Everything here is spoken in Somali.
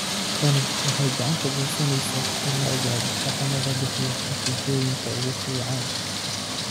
Tani waxay gacan ka geysaneysaa in la ogaado dhaqamada bixiya natiijooyinka ugu fiican.